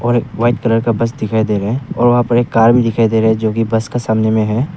और एक white colour का बस दिखाई दे रहा है और वहां पर एक कार भी दिखाई दे रहा है जो की बस के सामने में है।